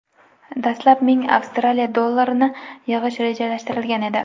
Dastlab ming Avstraliya dollarini yig‘ish rejalashtirilgan edi.